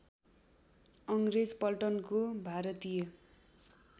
अङ्ग्रेज पल्टनको भारतीय